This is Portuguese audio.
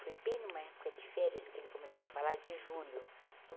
Foi bem numa época de férias que ele começou a falar de julho.